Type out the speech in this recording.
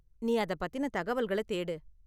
நீ அத பத்தின தகவல்களை தேடு.